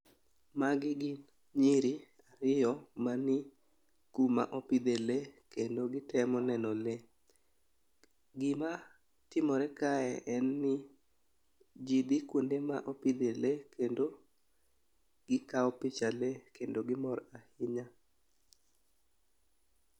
Magi gin nyiri ariyo ma ni kuma opidhe lee kendo gitemo neno lee .Gima timore kae en ni jii dhi kuonde ma opidhe lee kendo gikawo picha lee kendo gimor ahinya.